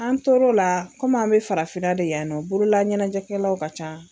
An tor'o la komi an mɛ farafinna de yan nɔ borola ɲɛnajɛkɛlaw ka ca.